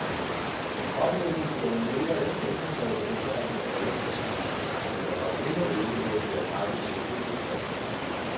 Oplægget blev mere eller mindre taget til efterretning af alle partier, men er dog endnu ikke blevet bearbejdet til et egentligt lovforslag.